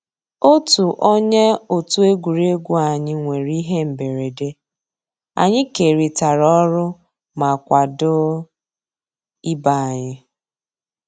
Ótú ónyé ótú égwurégwu ànyị́ nwèrè íhé mbérèdé, ànyị́ kérị́tárá ọ́rụ́ má kwàdó ìbé ànyị́.